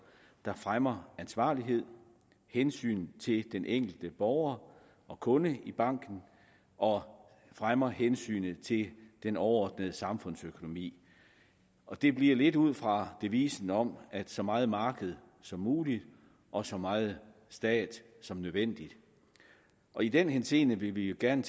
der fremmer ansvarlighed hensyn til den enkelte borger og kunde i banken og fremmer hensynet til den overordnede samfundsøkonomi og det bliver lidt ud fra devisen om så meget marked som muligt og så meget stat som nødvendigt i den henseende vil vi jo gerne